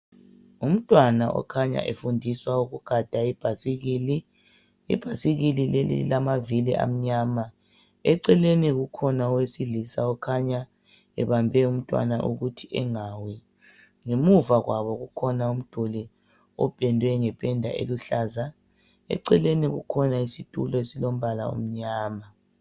Ngumntwana okhanya efundiswa ukugada ibhasikili, ibhasikili leli lilamvavili amnyama. Eceleni kukhona owesilisa okhanya ebambe umnntwana ukuthi engawi, ngemuva kwabo kukhona umduli opendwe ngependa eluhlaza. Eceleni kukhona isitulo esilombala omnyama